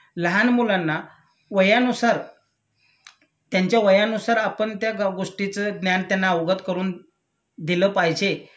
लहान मुलांना वयानुसार त्यांच्या वयानुसार आपण त्या गोष्टीच ज्ञान त्यांना अवगत करून दिलं पाहिजे